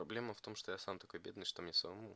проблема в том что я сам такой бедный что мне самому